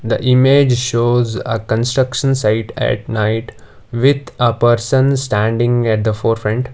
the image shows a construction site at night with a person standing at the forefront.